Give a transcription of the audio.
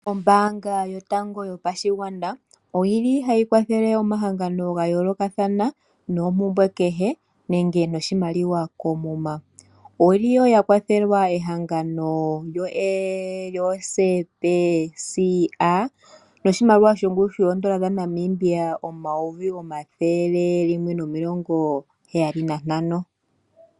Ombaanga yotango yopashigwana oyili hayi kwathele omahangano ga yoolokathana noompumbwe kehe nenge noshimaliwa koomuma, oyili woo ya kwathele ehangano lyo SPCA noshimaliwa shongushu oondola omayovi ethele limwe nomilongo heyali nantano.